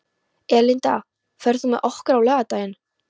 Erlinda, ferð þú með okkur á laugardaginn?